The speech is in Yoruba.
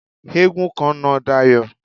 Eégún kan na Dayọ̀.